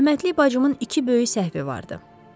Rəhmətlik bacımın iki böyük səhvi vardı.